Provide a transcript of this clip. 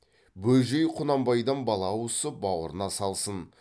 бөжей құнанбайдан бала ауысып бауырына салсын